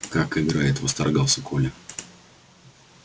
как играет восторгался коля